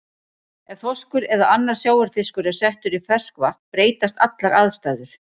Ef þorskur eða annar sjávarfiskur er settur í ferskvatn breytast allar aðstæður.